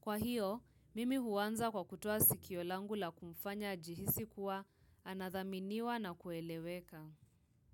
Kwa hiyo, mimi huanza kwa kutua sikio langu la kumfanya ajihisi kuwa anathaminiwa na kueleweka.